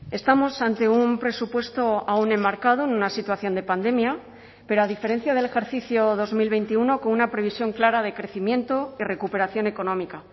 estamos ante un presupuesto aún enmarcado en una situación de pandemia pero a diferencia del ejercicio dos mil veintiuno con una previsión clara de crecimiento y recuperación económica